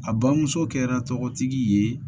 A bamuso kɛra tɔgɔtigi ye